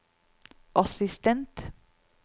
assistent